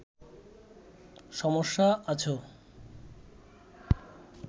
সমস্যা আছ